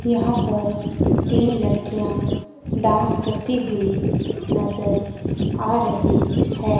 यहां पर तीन लड़कियां डांस करती हुई नज़र आ रही है।